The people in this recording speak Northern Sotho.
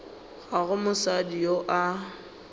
ga go mosadi yo a